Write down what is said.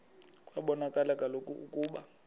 kwabonakala kaloku ukuba